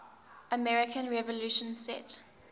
american revolution set